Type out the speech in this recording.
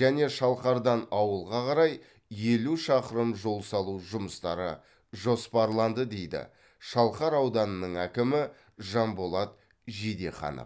және шалқардан ауылға қарай елу шақырым жол салу жұмыстары жоспарланды дейді шалқар ауданының әкімі жанболат жидеханов